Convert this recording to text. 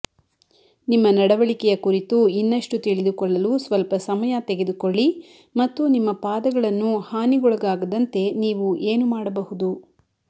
ನಿಮ್ಮ ನಡವಳಿಕೆಯ ಕುರಿತು ಇನ್ನಷ್ಟು ತಿಳಿದುಕೊಳ್ಳಲು ಸ್ವಲ್ಪ ಸಮಯ ತೆಗೆದುಕೊಳ್ಳಿ ಮತ್ತು ನಿಮ್ಮ ಪಾದಗಳನ್ನು ಹಾನಿಗೊಳಗಾಗದಂತೆ ನೀವು ಏನು ಮಾಡಬಹುದು